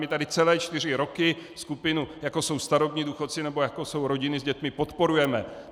My tady celé čtyři roky skupinu, jako jsou starobní důchodci nebo jako jsou rodiny s dětmi, podporujeme.